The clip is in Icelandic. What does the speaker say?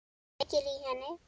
Kveikir í henni.